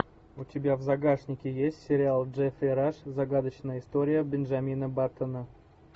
у тебя в загашнике есть сериал джеффри раш загадочная история бенджамина баттона